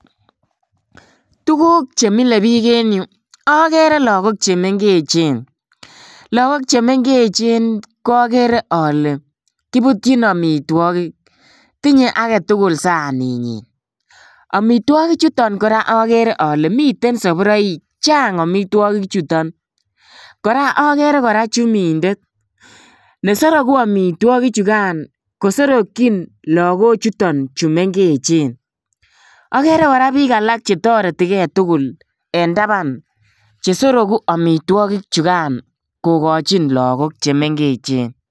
Tuguk che mile biik en yu agere lagok che mengechen. Lagok che mengechen ko agere ale kiputyin amitwogik. Tinye age tugul saninyin. Amitwogik chutan kora agere ale miten sapuraik. Chang amitwogichuton. Kora agere kora chumindet nesorogu amitwogichugan kosorokyin lagochuton chu mengechen. Agere kora biik alak che toretige tugul en taban che sorugu amitwogik chugan kogochin lagok che mengechen.